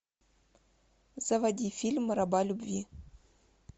заводи фильм раба любви